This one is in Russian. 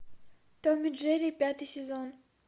том и джерри пятый сезон